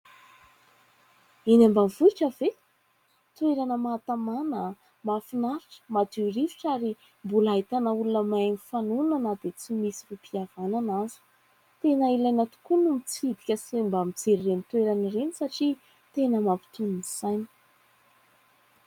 Eny ambanivohitra ve ? Toerana mahatamana, mahafinaritra, madio rivotra ary mbola ahitana olona mahay mifanohana na dia tsy misy rohim-pihavanana aza. Tena ilaina tokoa no mitsidika sy mba mijery ireny toerana ireny satria tena mampitony ny saina.